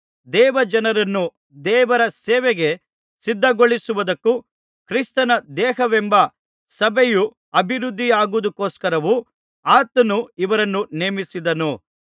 ದೇವಜನರನ್ನು ದೇವರ ಸೇವೆಗೆ ಸಿದ್ಧಗೊಳಿಸುವುದಕ್ಕೂ ಕ್ರಿಸ್ತನ ದೇಹವೆಂಬ ಸಭೆಯು ಅಭಿವೃದ್ಧಿಯಾಗುವುದಕ್ಕೋಸ್ಕರವೂ ಆತನು ಇವರನ್ನು ನೇಮಿಸಿದನು